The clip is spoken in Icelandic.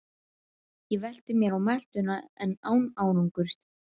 Ég velti mér á meltuna en án árangurs.